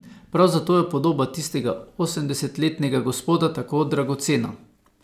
Prav zato je podoba tistega osemdesetletnega gospoda tako dragocena.